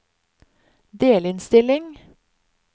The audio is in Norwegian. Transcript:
delinnstilling